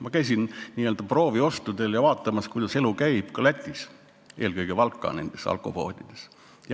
Ma käisin n-ö prooviostudel ja vaatasin, kuidas Lätis elu käib, eelkõige Valka alkopoodides.